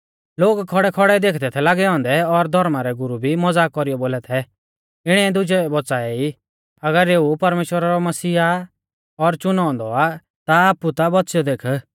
लोग खौड़ैखौड़ै देखदै थै लागै औन्दै और धौर्मा रै गुरु भी मज़ाक कौरीयौ बोला थै इणीऐ दुजै बौच़ाऐ ई अगर एऊ परमेश्‍वरा रौ मसीहा और च़ुनौ औन्दौ आ ता आपु ता बौच़ियौ देख